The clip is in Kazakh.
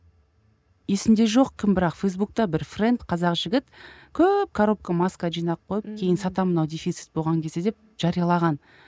есімде жоқ кім бірақ фейсбукта бір френд қазақ жігіт көп коробка маска жинап койып кейін сатамын мынау дефицит болған кезде деп жариялаған